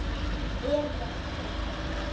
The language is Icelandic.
Elías Hólm.